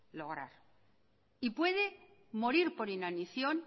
lograr y puede morir por inanición